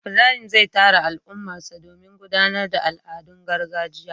ibrahim zai tara al'ummarsa domin gudanar da al'adun gargajiya